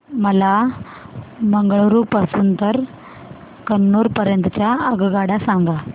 मला मंगळुरू पासून तर कन्नूर पर्यंतच्या रेल्वेगाड्या सांगा